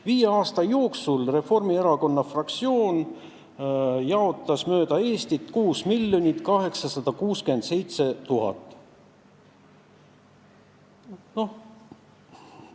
Viie aasta jooksul jaotas Reformierakonna fraktsioon mööda Eestit laiali 6 867 000 eurot.